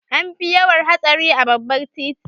An fi yawan hatsari a babbar titi.